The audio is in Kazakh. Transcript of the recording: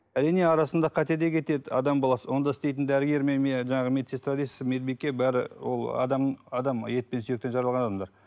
әрине арасында қате де кетеді адам баласы онда істейтін дәрігер мен жаңағы медсестра дейсіз медбике бәрі ол адам адам етпен сүйектен жаралған адамдар